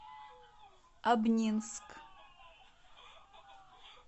обнинск